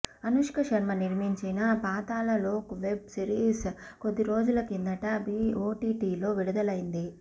అనుష్క శర్మ నిర్మించిన Paatal Lok web series కొద్దిరోజుల కిందట ఓటీటీలో విడుదలైంది